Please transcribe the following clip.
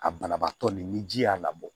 Ka banabaatɔ ni ji y'a labɔ